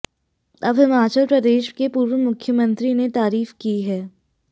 अब हिमाचल प्रदेश के पूर्व मुख्यमंत्री ने तारीफ की है